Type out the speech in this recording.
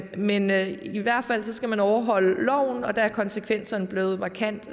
men i hvert fald skal man overholde loven og der er konsekvenserne blevet markant